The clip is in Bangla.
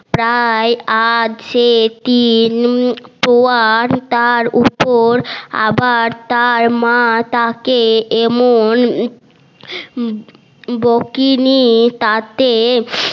প্রায় আজ সে তার উপর আবার তার মা তাকে এমন বকুনি তাতে